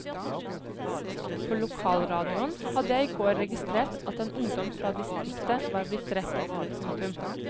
På lokalradionen hadde jeg i går registrert at en ungdom fra distriktet var blitt drept. punktum